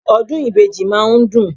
Ọdún ìbejì máa ń dùn.